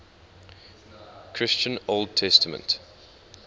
christian old testament